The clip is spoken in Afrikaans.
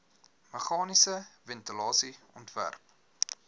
meganiese ventilasie ontwerp